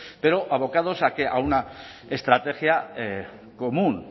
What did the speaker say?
pero abocados a qué a una estrategia común